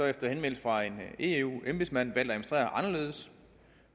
efter henvendelse fra en eu embedsmænd valgt at administrere anderledes